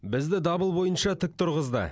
бізді дабыл бойынша тік тұрғызды